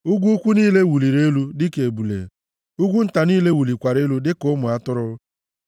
Ugwu ukwu niile wụliri elu dịka ebule; ugwu nta niile wụlikwara elu dịka ụmụ atụrụ.